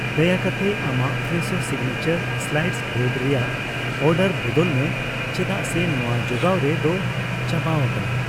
ᱫᱟᱭᱟ ᱠᱟᱛᱮ ᱟᱢᱟᱜ ᱯᱷᱨᱮᱥᱳ ᱥᱤᱜᱱᱮᱪᱟᱨ ᱥᱞᱟᱭᱤᱥᱰ ᱵᱨᱮᱰ ᱨᱮᱭᱟᱜ ᱚᱨᱰᱟᱨ ᱵᱚᱫᱚᱞ ᱢᱮ ᱪᱮᱫᱟᱜ ᱥᱮ ᱱᱚᱣᱟ ᱡᱚᱜᱟᱣ ᱨᱮᱫᱚ ᱪᱟᱵᱟᱣᱟᱠᱟᱱᱟ ᱾